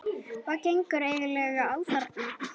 HVAÐ GENGUR EIGINLEGA Á ÞARNA?